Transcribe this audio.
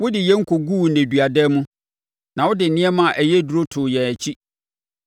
Wode yɛn kɔguu nneduadan mu na wode nneɛma a ɛyɛ duru too yɛn akyi.